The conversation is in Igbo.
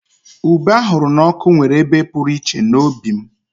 Ube ahuru na oku nwere ebe pụrụ iche n'obi m